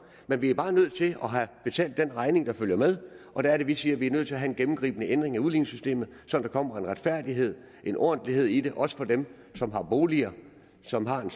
men vi er bare nødt til at have betalt den regning der følger med og der er det vi siger at vi er nødt til at have en gennemgribende ændring af udligningssystemet så der kommer en retfærdighed en ordentlighed i det også for dem som har boliger som har en